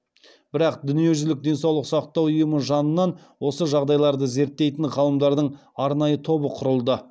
бірақ дүниежүзілік денсаулық сақтау ұйымы жанынан осы жағдайларды зерттейтін ғалымдардың арнайы тобы құрылды